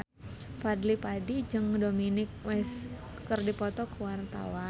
Fadly Padi jeung Dominic West keur dipoto ku wartawan